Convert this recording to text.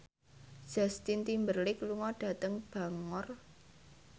Justin Timberlake lunga dhateng Bangor